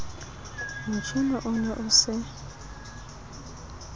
motjhine o ne o se